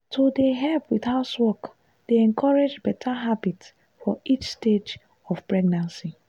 to dey help with housework dey encourage better habit for each stage of pregnancy.